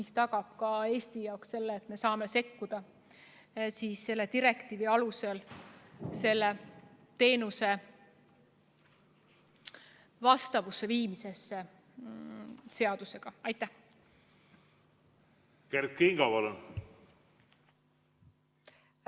See tagab ka Eestile võimaluse sekkuda direktiivi alusel teenuse seadusega vastavusse viimisesse.